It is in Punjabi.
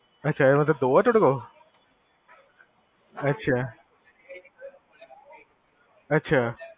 ਅਛਾ ਇਹੋ ਜੇਹੇ ਦੋ ਆ ਤੁਹਾਡੇ ਕੋਲ? ਅਛਾ!